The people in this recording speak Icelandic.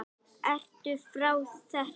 Ertu frá þér?